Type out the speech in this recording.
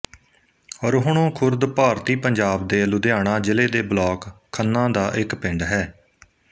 ਰੋਹਣੋ ਖੁਰਦ ਭਾਰਤੀ ਪੰਜਾਬ ਦੇ ਲੁਧਿਆਣਾ ਜ਼ਿਲ੍ਹੇ ਦੇ ਬਲਾਕ ਖੰਨਾ ਦਾ ਇੱਕ ਪਿੰਡ ਹੈ